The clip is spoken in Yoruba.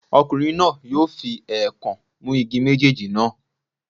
Ọkùnrin náà yóò fi èèkàn mú igi méjèèjì náà.